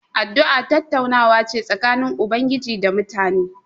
Addu'a tattaunawa ce tsakanin Ubangiji da mutane.